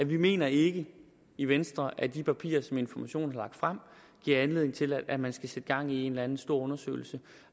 vi mener ikke i venstre at de papirer som information har lagt frem giver anledning til at man skal sætte gang i en eller anden stor undersøgelse